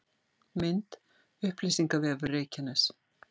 Mynd: Upplýsingavefur Reykjaness